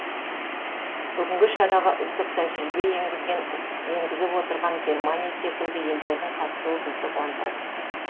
бүгінгі шараға үздік тәжірибе енгізіп отырған германия секілді елдердің қатысуы бізді қуантады